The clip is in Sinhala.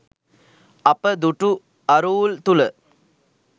අප දුටු අරූල් තුළ